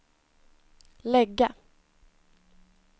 lägga